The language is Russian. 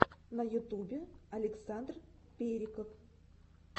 на ютубе александр периков